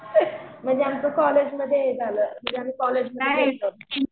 म्हणजे आमचं कॉलेजमध्ये हे झालं म्हणजे आम्ही कॉलेजमध्ये होतो